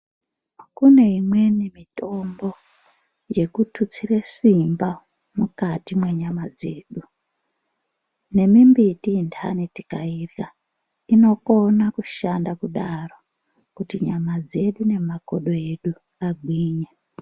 Kune imweni mitombo yekututsire simba mwukati mwenyama dzedu. Nemimbiti intani tikairya inokono kushanda kudaro kuti nyama dzedu nemakodo edu agwinye.